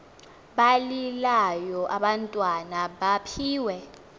balilayo abantwana mabaphiwe